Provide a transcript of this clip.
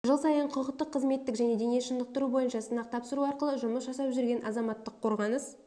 жыл сайын құқықтық қызметтік және дене шынықтыру бойынша сынақ тапсыру арқылы жұмыс жасап жүрген азаматтық қорғаныс